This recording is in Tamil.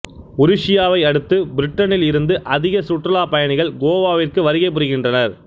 உருசியாவை அடுத்து பிரிட்டனில் இருந்து அதிக சுற்றுலா பயணிகள் கோவாவிற்கு வருகை புரிகின்றனர்